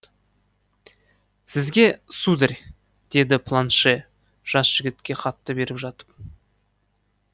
сізге сударь деді планше жас жігітке хатты беріп жатып